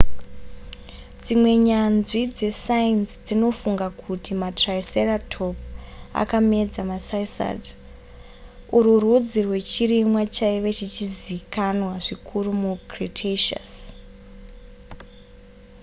dzimwe nyanzvi dzesainzi dzinofunga kuti matriceratop akamedza macycad urwu rudzi rwechirimwa chaive chichizikanwa zvikuru mucretaceous